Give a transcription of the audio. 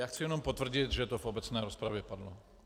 Já chci jenom potvrdit, že to v obecné rozpravě padlo.